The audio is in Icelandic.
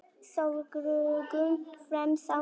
Sólgleraugun fremst á nefinu.